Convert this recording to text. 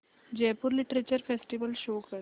Jaipur literature festival show कर